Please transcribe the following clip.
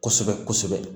Kosɛbɛ kosɛbɛ